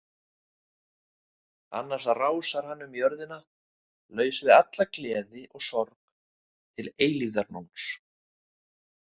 Annars rásar hann um jörðina laus við alla gleði og sorg til eilífðarnóns.